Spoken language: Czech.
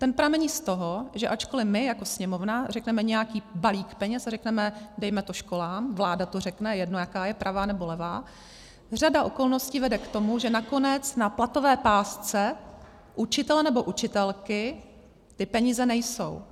Ten pramení z toho, že ačkoli my jako Sněmovna řekneme nějaký balík peněz a řekneme dejme to školám, vláda to řekne, jedno, jaká je, pravá, nebo levá, řada okolností vede k tomu, že nakonec na platové pásce učitele nebo učitelky ty peníze nejsou.